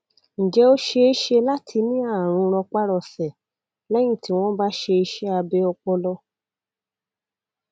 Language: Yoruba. ǹjẹ ó ṣeé ṣe láti ní àrùn rọpárọsẹ lẹyìn tí wọn bá ṣe iṣẹ abẹ ọpọlọ